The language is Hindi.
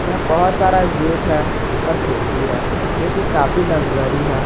इसमें बहोत सारा गेट है और खिड़की है जो कि काफी लक्जरी है।